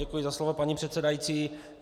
Děkuji za slovo, paní předsedající.